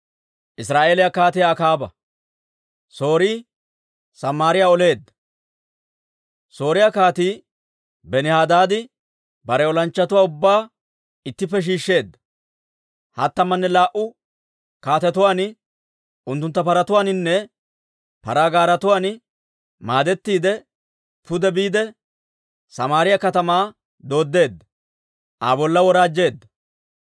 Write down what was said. Sooriyaa Kaatii Benihadaadi bare olanchchatuwaa ubbaa ittippe shiishsheedda. Hattamanne laa"u kaatetuwaan, unttuntta paratuwaaninne paraa gaaretuwaan maadettiide, pude biide Samaariyaa katamaa dooddeedda; Aa bolla woraajjeedda.